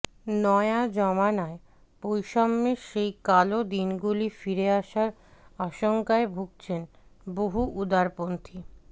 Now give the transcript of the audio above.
নয়া জমানায় বৈষম্যের সেই কালো দিনগুলি ফিরে আসার আশঙ্কায় ভুগছেন বহু উদারপন্থী